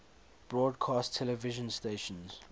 broadcast television stations